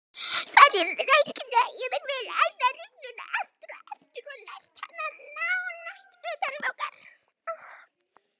Farið rækilega yfir vel æfða rulluna aftur og aftur og lært hana nánast utanbókar.